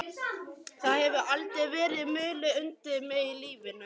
Það hefur aldrei verið mulið undir mig í lífinu.